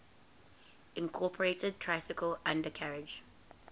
incorporated tricycle undercarriage